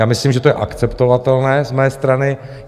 Já myslím, že to je akceptovatelné z mé strany.